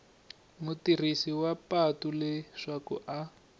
mutirhisi wa patu leswaku a